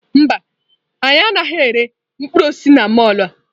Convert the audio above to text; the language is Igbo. Mba, anyị anaghị ere mkpụrụ osisi na mọlụ a.